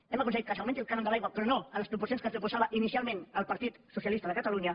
hem aconseguit que s’augmenti el cànon de l’aigua però no en les proporcions que ens proposava inicialment el partit socialista de catalunya